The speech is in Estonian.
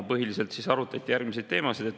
Põhiliselt arutati järgmisi teemasid.